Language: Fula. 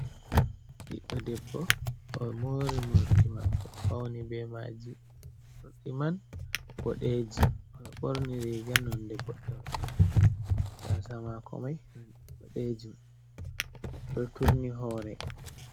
Ɓiɗɗo debbo, o mori morɗi maako, o fauni be maaji. Morɗi man boɗeeji. O ɓorni riga nonde boɗeejum. Gaasa maako mai nonde boɗeejum, o ɗo turni hore.